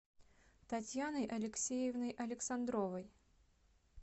татьяной алексеевной александровой